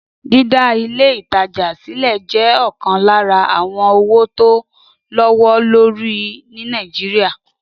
Dídá Ilé-ìtajà sílẹ̀ jẹ́ ọ̀kan lára àwọn òwò tó lówó lórí ní Nàìjíríà